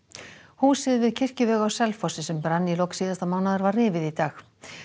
húsið við kirkjuveg á Selfossi sem brann í lok síðasta mánaðar var rifið í dag